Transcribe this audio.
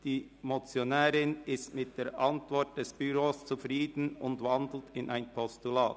Die Motionärin ist mit der Antwort des Büros zufrieden und wandelt in ein Postulat.